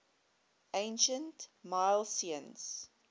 ancient milesians